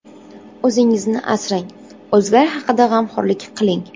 O‘zingizni asrang, o‘zgalar haqida g‘amxo‘rlik qiling.